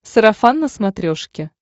сарафан на смотрешке